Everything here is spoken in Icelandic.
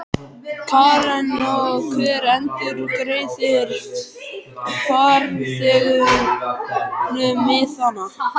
Karen: Og hver endurgreiðir farþegunum miðana?